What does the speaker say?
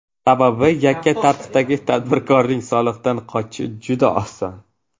Sababi, yakka tartibdagi tadbirkorning soliqdan qochishi juda oson.